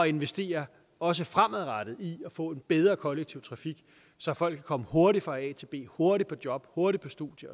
investere også fremadrettet i at få en bedre kollektiv trafik så folk kan komme hurtigt fra a til b hurtigt på job hurtigt på studie